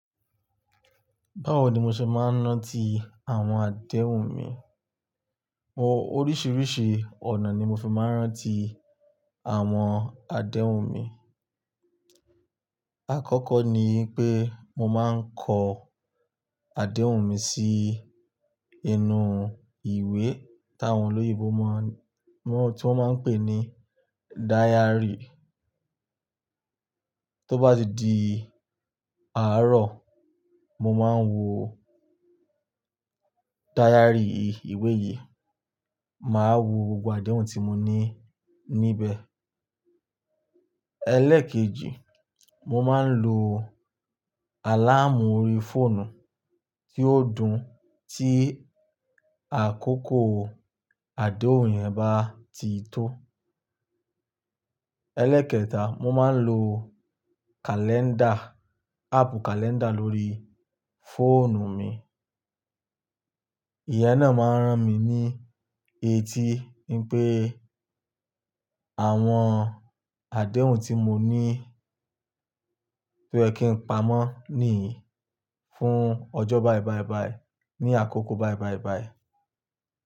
Báwo ni mo ṣe máa ń rántí àwọn àdéhùn mi? Mo-- oríṣiiríṣii ọ̀nà ni mo fi máa ń rántí àwọn àdéhùn mi. Àkọ́kọ́ ni pé mo máa ń kọ àdéhùn mi sí inú ìwé tàwọn olóyinbo máa ń-- tí wọ́n máa ń pè ní diary. Tó bá di àárọ̀, mo máa ń wo diary yi, ìwé yìí, màá wo gbogbo àdéhùn tí mo ní níbẹ̀. Ẹlẹ́ẹ̀kejì, mo máa ń lo àláàmù orí fóònù tí ò dùn tí àkókò àdéhùn yẹn bá ti tó. Ẹlẹ́ẹ̀kẹta, mo máa ń lo kàlẹ́ńdà, áàpù kàlẹ́ńdà lórí fóònù mi. Ìyẹ́n náà máa ń ran mi ní etí wipé àwọn àdéhùn tí mo ní tó yẹ kín pamọ́ nìyí fún ọjọ́ báì báì báì ní àkókò báì báì báì.